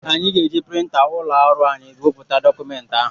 Anyị ga-eji printa ụlọ ọrụ anyị wepụta dọkụmenti ahụ.